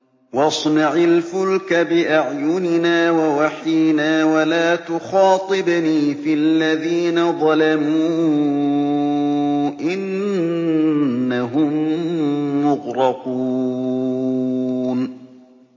وَاصْنَعِ الْفُلْكَ بِأَعْيُنِنَا وَوَحْيِنَا وَلَا تُخَاطِبْنِي فِي الَّذِينَ ظَلَمُوا ۚ إِنَّهُم مُّغْرَقُونَ